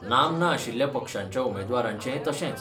नामना नाशिल्ल्या पक्षांच्या उमेदवारांचेंय तशेंच.